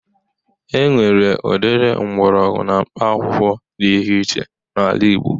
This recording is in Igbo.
E nwere udiri mgbọrọgwụ na mkpaakwụkwọ di ihe iche n'ala igbo.